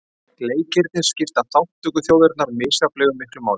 Leikirnir skipta þátttökuþjóðirnar misjafnlega miklu máli